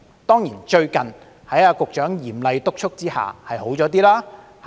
當然，最近在局長嚴厲督促下，情況稍有改善。